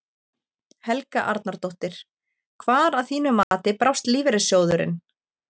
Helga Arnardóttir: Hvar að þínu mati brást lífeyrissjóðurinn?